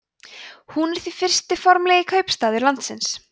hún er því fyrsti formlegi kaupstaður landsins